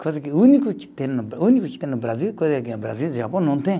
Coisa que, o único que tem no, o único que tem no Brasil, coisa que no Brasil e no Japão não tem.